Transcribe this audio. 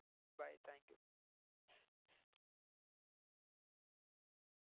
Bye thank you